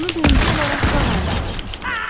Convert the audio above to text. Onu birinci olaraq qağayılar görmüşdülər.